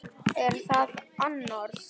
Er það annars?